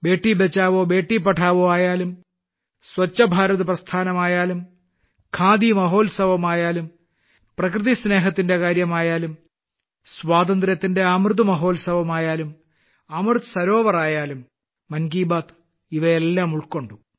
ബേടീ ബച്ചാവോ ബേടീ പഠാവോ ആയാലും സ്വച്ഛ് ഭാരത് പ്രസ്ഥാനമായാലും ഖാദി മഹോത്സവമായാലും പ്രകൃതി സ്നേഹത്തിന്റെ കാര്യമായാലും സ്വാതന്ത്ര്യത്തിന്റെ അമൃത മഹോത്സവമായാലും അമൃത് സരോവർ ആയാലും മൻ കി ബാത്ത് ഇവയെല്ലാം ഉൾക്കൊണ്ടു